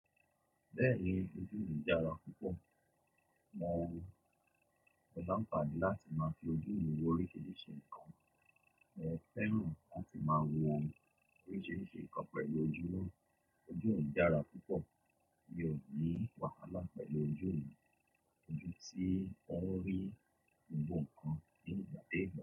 Bẹ́ẹ̀ni, ojú mi dára púpọ̀, mo máa ń pàdé láti máa fi ojú mi wo oríṣiríṣi nǹkan. Èè fẹ́ràn láti máa wo oríṣiríṣi nǹkan pẹ̀lú ojú wọn. Ojú mi dára púpọ̀, mi ò ní wàhálà pẹ̀lú ojú mi, ojú tí ń rí gbogbo nǹkan ní ìgbà to gbà.